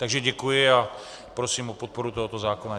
Takže děkuji a prosím o podporu tohoto zákona.